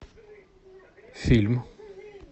фильм